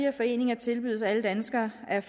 af foreninger tilbydes alle danskere er